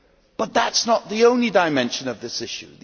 But that is not the only dimension of this issue.